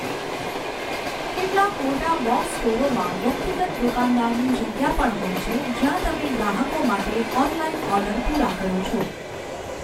કેટલાક મોટા બૉક્સ સ્ટોરોમાં વ્યક્તિગત દુકાનદારની જગ્યા પણ હોય છે જ્યાં તમે ગ્રાહકો માટે ઑનલાઇન ઑર્ડર પૂરા કરો છો.